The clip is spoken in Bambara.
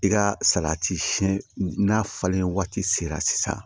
I ka salati siyɛn n'a falen waati sera sisan